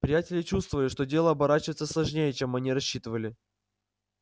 приятели чувствовали что дело оборачивается сложнее чем они рассчитывали